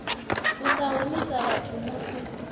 u sa humisa vhathu musi